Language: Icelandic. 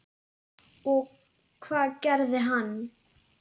Og hvað gerði hann?